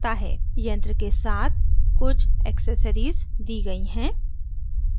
यंत्र के साथ कुछ accessories सहायक सामग्री दी गई हैं